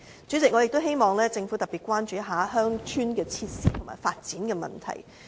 主席，我也希望政府特別關注鄉村設施和發展的問題。